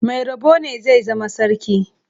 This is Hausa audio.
Mai rabo ne zai zama sarki.